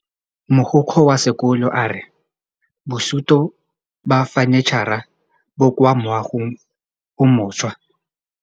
Mogokgo wa sekolo a re bosutô ba fanitšhara bo kwa moagong o mošwa.